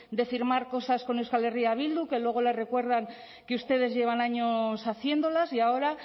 de firmar cosas con euskal herria bildu que luego les recuerdan que ustedes llevan años haciéndolas y ahora